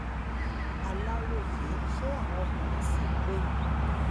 aláròye ṣé àwọn ọkùnrin ṣì ń pè yín